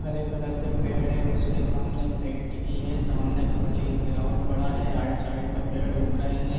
हरे colour के पेड़ हैउसके सामने बाइक रखी है सामने खली ग्राउंड पड़ा हैआउट साइड में पेड़ उग रहे है।